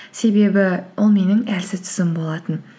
себебі ол менің әлсіз тұсым болатын